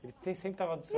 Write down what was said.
sempre estava do seu